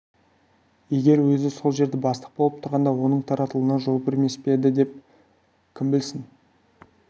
егер өзі сол жерде бастық болып тұрғанда оның таратылуына жол бермес пе еді кім білсін